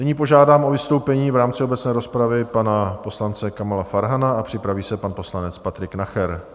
Nyní požádám o vystoupení v rámci obecné rozpravy pana poslance Kamila Farhana a připraví se pan poslanec Patrik Nacher.